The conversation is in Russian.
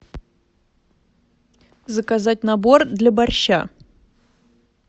заказать набор для борща